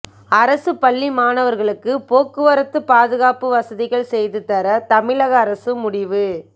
அரசு பள்ளி மாணவர்களுக்கு போக்குவரத்து பாதுகாப்பு வசதிகள் செய்துதர தமிழக அரசு முடிவு